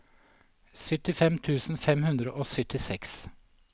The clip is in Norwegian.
syttifem tusen fem hundre og syttiseks